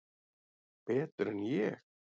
Betur en ég?